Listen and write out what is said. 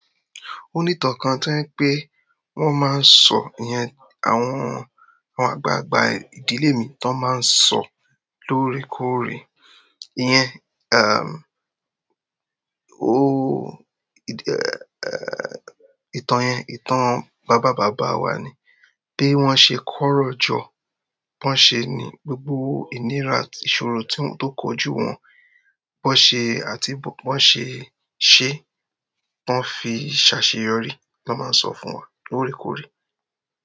Ó ní ìtàn kan to je pé wón máa ń sọ iyen, àwọn, àwọn àgbàgbà ìdílé mi tó máa ń sọ lóorekóore. Iyẹn, ìtàn yẹn, ìtàn bàbá bàbà wa ni. Bí wọ́n ṣe kórò jọ, bó ṣe ní gbogbo ìnira àti ìṣòro tí wọ́n tó kojú wọn, bó ṣe àti bó wọ́n ṣe ṣé, wọ́n fi ṣaṣeyọrí ló máa ń sọ fún wa lóorekóore.